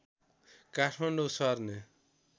काठमाडौँ सर्ने